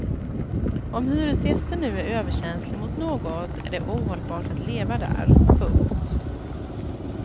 Om hyresgästen nu är överkänslig mot något är det ohållbart att leva där. punkt